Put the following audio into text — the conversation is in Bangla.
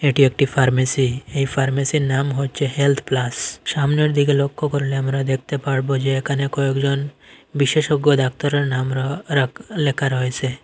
এটি একটি ফার্মেসি এই ফার্মেসীর নাম হচ্ছে হেলথ প্লাস সামনের দিকে লক্ষ্য করলে আমরা দেখতে পারবো যে এখানে কয়েকজন বিশেষজ্ঞ ডাক্তারের নাম-র-রাক লেখা রয়েছে।